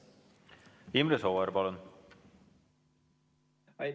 Imre Sooäär, palun!